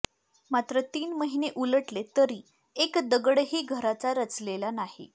मात्र तीन महिने उलटले तरी एक दगडही घराचा रचलेला नाही